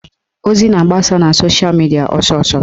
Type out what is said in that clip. Ozi na-agbasa na sosha midia ọsọsọ